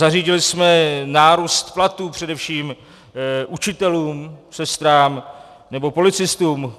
Zařídili jsme nárůst platů především učitelům, sestrám nebo policistům.